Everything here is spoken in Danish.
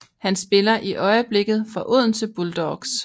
Han spiller i øjeblikket for Odense Bulldogs